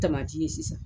ye sisan